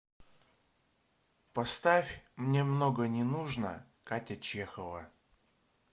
поставь мне много не нужно катя чехова